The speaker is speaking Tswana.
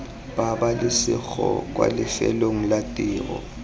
pabalesego kwa lefelong la tiro